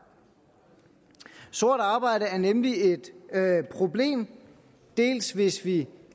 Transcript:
sort arbejde er nemlig et problem dels hvis vi